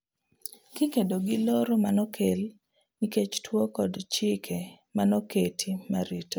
Kikedo gi loro manokel nikech tuo kod chike manoket marito ...